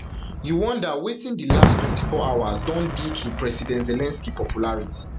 you wonder wetin di last twenty-four hours don do to president zelensky popularity